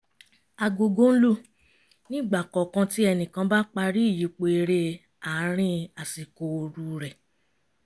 agogo ń lù ní ìgbà kọ̀ọ̀kan tí ẹnìkan bá parí ìyípo eré àárín àsìkò ooru rẹ̀